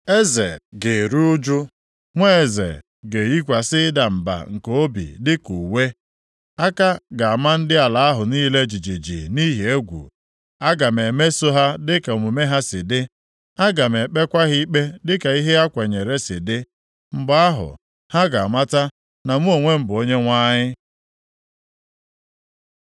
Eze ga-eru ụjụ, nwa eze ga-eyikwasị ịda mba nke obi dịka uwe, aka ga-ama ndị ala ahụ niile jijiji nʼihi egwu. Aga m emeso ha dịka omume ha si dị, aga m ekpekwa ha ikpe dịka ihe ha kwenyeere si dị. “ ‘Mgbe ahụ, ha ga-amata na mụ onwe m bụ Onyenwe anyị.’ ”